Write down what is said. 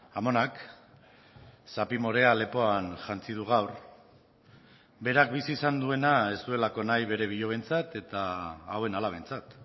amonak zapi morea lepoan jantzi du gaur berak bizi izan duena ez duelako nahi bere bilobentzat eta hauen alabentzat